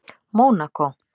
Mónakó